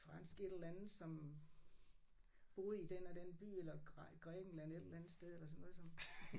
Fransk et eller andet som boede i den og den by eller Grækenland et eller andet sted eller sådan noget som